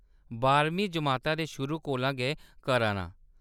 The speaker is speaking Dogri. बाहरमीं जमाता दे शुरू कोला गै करा नां।